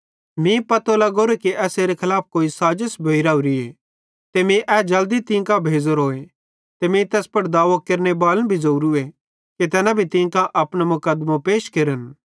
मीं पतो लग्गोरोए कि एसेरे खलाफ कोई साज़िश भोइ राहोरीए ते मीं ए जल्दी तीं कांजो भेज़ोरोए ते मीं तैस पुड़ दाओ केरनेबालन भी ज़ोरूए कि तैना भी तीं कां अपनो मुकदमों पैश केरन